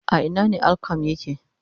A Ina ne Al-qualm yake